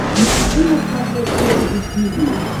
найти на смотрешке рубль ти ви